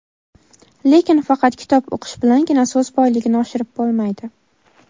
Lekin faqat kitob o‘qish bilangina so‘z boyligini oshirib bo‘lmaydi.